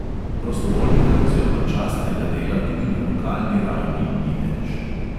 Prostovoljnega oziroma častnega dela tudi na lokalni ravni ni več.